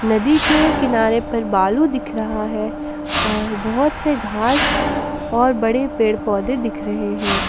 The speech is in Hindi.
नदी के किनारे पर बालू दिख रहा है और बहुत से घास और बड़े पेड़ पौधे दिख रहे हैं।